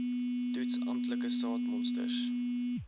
toets amptelike saadmonsters